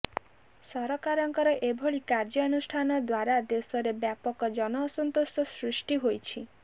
ସରକାରଙ୍କର ଏଭଳି କାର୍ଯ୍ୟାନୁଷ୍ଠାନ ଦ୍ୱାରା ଦେଶରେ ବ୍ୟାପକ ଜନଅସନ୍ତୋଷ ସୃଷ୍ଟି ହୋଇଛି